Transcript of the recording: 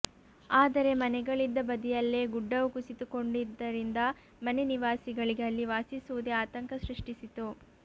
ಆದರೆ ಮನೆಗಳಿದ್ದ ಬದಿಯಲ್ಲೇ ಗುಡ್ಡವು ಕುಸಿತಗೊಂಡಿದ್ದರಿಂದ ಮನೆ ನಿವಾಸಿಗಳಿಗೆ ಅಲ್ಲಿ ವಾಸಿಸುವುದೇ ಆತಂಕ ಸಷ್ಟಿಸಿತು